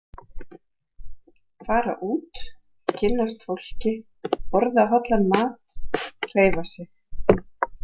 Fara út, kynnast fólki, borða hollan mat, hreyfa sig.